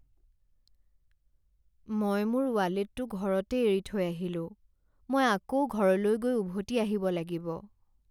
মই মোৰ ৱালেটটো ঘৰতে এৰি থৈ আহিলো। মই আকৌ ঘৰলৈ গৈ উভতি আহিব লাগিব।